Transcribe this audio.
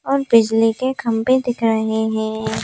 और बिजली के खंबे दिख रहे हैं।